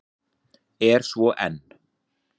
Er svo enn.